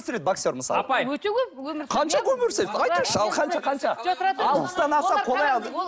боксер мысалы өте көп